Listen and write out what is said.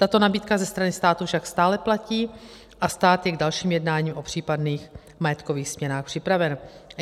Tato nabídka ze strany státu však stále platí a stát je k dalším jednáním o případných majetkových směnách připraven.